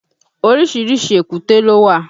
Orísìírísìí èkúté ló wà